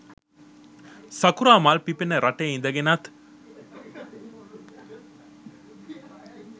සකුරා මල් පිපෙන රටේ ඉදගෙනත්